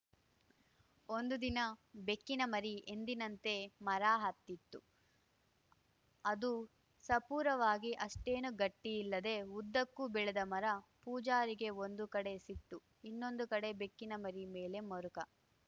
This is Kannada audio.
ಒಂದು ದಿನ ಬೆಕ್ಕಿನಮರಿ ಎಂದಿನಂತೆ ಮರ ಹತ್ತಿತ್ತು ಅದು ಸಪೂರವಾಗಿ ಅಷ್ಟೇನೂ ಗಟ್ಟಿಯಿಲ್ಲದೆ ಉದ್ದಕ್ಕೂ ಬೆಳೆದ ಮರ ಪೂಜಾರಿಗೆ ಒಂದು ಕಡೆ ಸಿಟ್ಟು ಇನ್ನೊಂದು ಕಡೆ ಬೆಕ್ಕಿನಮರಿ ಮೇಲೆ ಮರುಕ